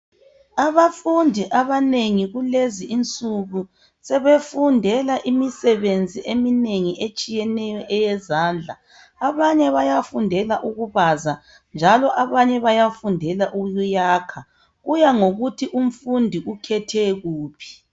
Abafundi abanengi kulezi insuku sebefundela imisebenzi eminengi etshiyeneyo eyeyezandla, abanye bayafundela ukubaza njalo abanye bayafundela ukuyakha, kuyangokuthi umfundi ukhethe kuphi.